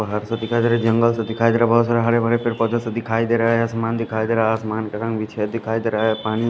पहाड़ सा दिखाई दे रहा है जंगल सा दिखाई दे रहा है बहोत सा हरे भरे पेड़ पौधे दिखाई दे रहे है आसमान दिखाई दे रहा है आसमान का रंग दिखाई दे रहा पानी --